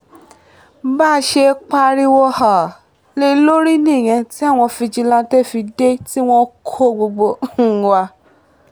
bá a ṣe pariwo um lé e lórí nìyẹn tí àwọn fijilantànté fi dé tí wọ́n kó gbogbo um wa